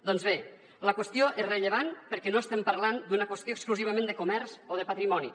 doncs bé la qüestió és rellevant perquè no estem parlant d’una qüestió exclusivament de comerç o de patrimoni